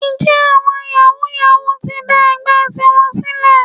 Ǹjẹ́ àwọn yàwúú-yawuù ti ń dá ẹgbẹ́ tiwọn sílẹ̀?